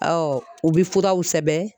u bɛ furaw sɛbɛn